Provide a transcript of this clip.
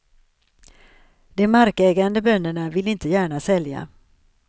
De markägande bönderna ville inte gärna sälja.